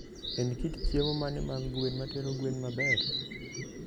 En kit chiemo mane mag gwen matero gwen maber?